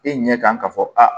E ɲɛ kan ka fɔ aa